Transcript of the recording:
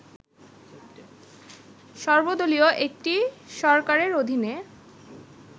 সর্বদলীয় একটি সরকারের অধীনে